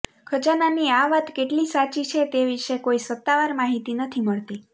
ખજાનાની આ વાત કેટલી સાચી છે તે વિશે કોઈ સત્તાવાર માહિતી નથી મળતી